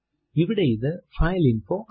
ഇവിടെ ഇത് ഫൈലിൻഫോ ആണ്